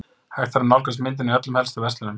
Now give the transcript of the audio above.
Hægt er að nálgast myndina í öllum helstu verslunum.